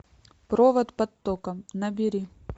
провод под током набери